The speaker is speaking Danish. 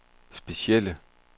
specielle